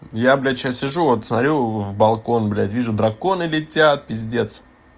я блять сейчас сижу вот смотрю в балкон блять вижу драконы летят пиздец